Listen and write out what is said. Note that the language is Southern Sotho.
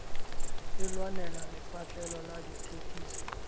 e lwanenela lepatlelo la dithekiso